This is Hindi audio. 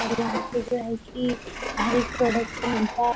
और यहाँ पे जो है की हर एक प्रोडक्ट पे मिलता है।